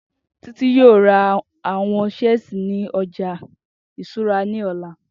Titi yóò ra àwọn siẹ́si ni ọja iṣura ni ọla